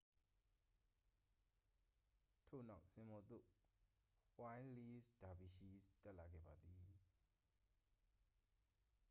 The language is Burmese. ထို့နောက် စင်ပေါ်သို့ ဝှိုင်းလီးလ်ဒါဗီရှီးစ် တက်လာခဲ့ပါသည်